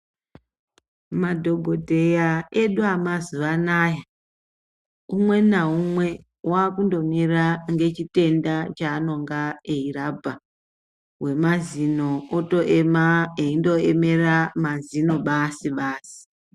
Madhokodheya edu amazuwa anaya umwe naumwe wakundomira ngechitenda chanonga eirapa. Wemazino otoema eindoemera mazino basi-basi.